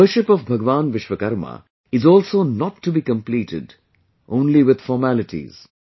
The worship of Bhagwan Vishwakarma is also not to be completed only with formalities